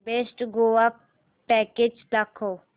best Goa package दाखव